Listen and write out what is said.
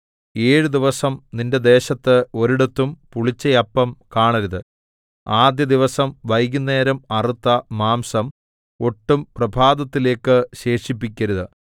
ഏഴ് ദിവസം നിന്റെ ദേശത്ത് ഒരിടത്തും പുളിച്ച അപ്പം കാണരുത് ആദ്യ ദിവസം വൈകുന്നേരം അറുത്ത മാംസം ഒട്ടും പ്രഭാതത്തിലേക്ക് ശേഷിപ്പിക്കരുത്